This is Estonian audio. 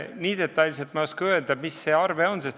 Nii detailselt ei oska ma öelda, mis see arve on.